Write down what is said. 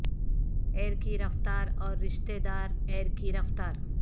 year کی رفتار اور رشتہ دار ایئر کی رفتار